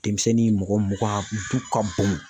Denmisɛnnin mɔgɔ mugan du ka bon